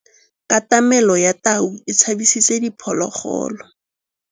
Katamêlô ya tau e tshabisitse diphôlôgôlô.